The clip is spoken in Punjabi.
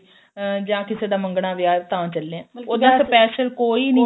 ਅਹ ਜਾ ਕਿਸੇ ਦਾ ਮੰਗਣਾ ਵਿਆਹ ਤਾਂ ਚੱਲੇ ਆ ਉਦਾਂ special ਕੋਈ ਨੀ